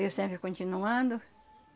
Eu sempre continuando.